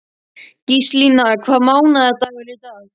Gíslína, hvaða mánaðardagur er í dag?